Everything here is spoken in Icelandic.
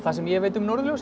sem ég veit um norðurljósin